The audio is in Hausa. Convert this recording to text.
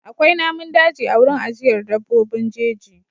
Akwai namun daji a wurin ajiyar dabbobin jeji.